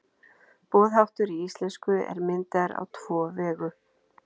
boðháttur í íslensku er myndaður á tvo vegu